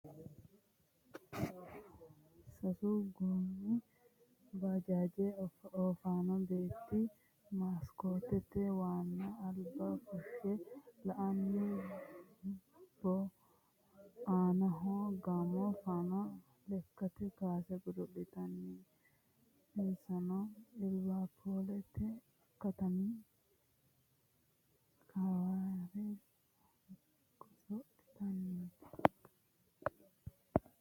Sasu goommi baajaaji oofanno beetti maskoote waanna Alba fushshe la"anni bo. Aanaho ganno footta lekkate kaase godo'laanooti. Insano liveripuulete katami kilawera goso'litannoreeti.